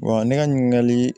ne ka ɲininkali